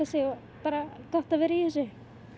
sig og gott að vera í þessu